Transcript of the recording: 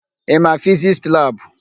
Ị ma Fizisti labụ?